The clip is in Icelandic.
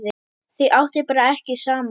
Þau áttu bara ekki saman.